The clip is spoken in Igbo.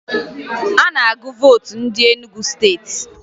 A na-agụ vootu ndị Enugu Steeti